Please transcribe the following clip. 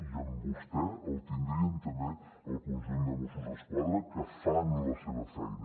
i amb vostè el tindrien també el conjunt de mossos d’esquadra que fan la seva feina